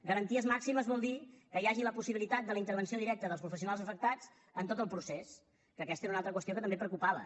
garanties màximes vol dir que hi hagi la possibilitat de la intervenció directa dels professionals afectats en tot el procés que aquesta era una preocupació que també preocupava